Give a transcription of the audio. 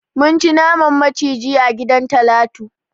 Mun ci naman maciji a gidan Talatu.